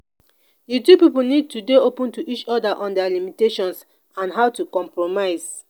the two pipo need to dey open to each oda on their limitations and how to compromise